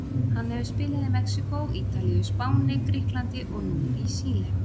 Hann hefur spilað í Mexíkó, Ítalíu, Spáni, Grikklandi og nú í Síle.